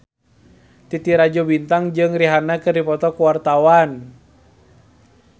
Titi Rajo Bintang jeung Rihanna keur dipoto ku wartawan